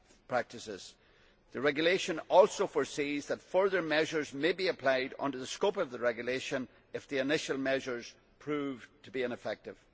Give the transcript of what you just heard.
practices. The regulation also foresees that further measures may be applied under the scope of the regulation if the initial measures prove to be ineffective.